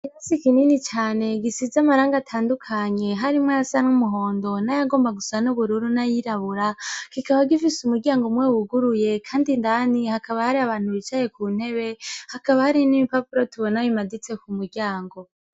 Ikirasi kinini cane gisize amarangi atandukanye harimwo ayasa n'umuhondo na yagomba gusa n'ubururu n'ayirabura kikaba gifise umuryango umwe wuguruye, kandi indani hakaba hari abantu bicaye ku ntebe hakaba hari n'ibipapuro tubona bimaditse ku muryango.